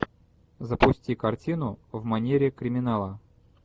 запусти картину в манере криминала